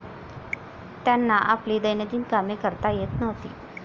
त्यांना आपली दैनंदिन कामे करता येत नव्हती.